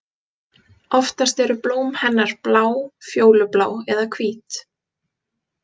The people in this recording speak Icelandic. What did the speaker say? Oftast eru blóm hennar blá, fjólublá eða hvít.